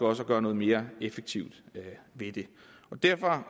også at gøre noget mere effektivt ved det derfor